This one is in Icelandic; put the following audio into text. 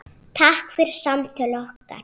Takk fyrir samtöl okkar.